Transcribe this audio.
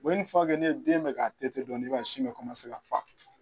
ni den bɛ k'a dɔɔni i b'a ye sin bɛ kɔmanse ka fa.